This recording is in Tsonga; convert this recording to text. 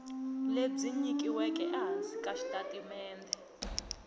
lebyi nyikiweke ehansi ka xitatimende